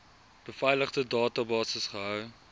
beveiligde databasis gehou